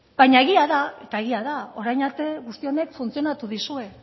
baina egia da eta egia da orain arte guzti honek funtzionatu dizue